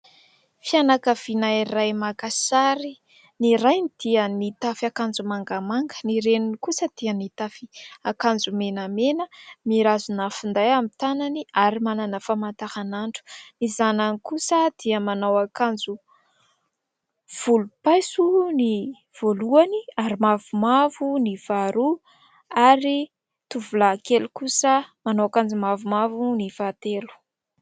Fianakaviana iray maka sary. Ny rainy dia mitafy akanjo mangamanga ; ny reniny kosa dia mitafy akanjo menamena, mirazona finday amin'ny tànany, ary manana famantaran'andro ; ny zanany kosa dia manao akanjo volompaiso ny voalohany, ary mavomavo ny faharoa, ary tovolahy kely kosa manao akanjo mavomavo ny fahatelo.